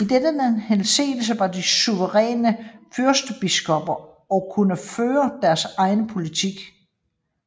I denne henseende var de suveræne fyrstbiskopper og kunne føre deres egen politik